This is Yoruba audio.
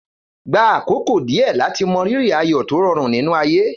Gba àkókò díẹ̀ láti mọrírì ayọ̀ tó rọrùn nínú ayé.